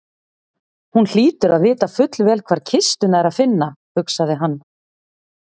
Hún hlýtur að vita fullvel hvar kistuna er að finna, hugsaði hann.